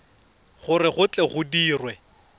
gore go tle go dirwe